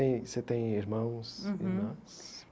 Tem... Você tem irmãos, irmãs?